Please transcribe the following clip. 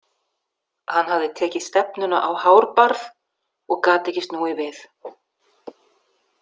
Hann hafði tekið stefnuna á Hárbarð og gat ekki snúið við.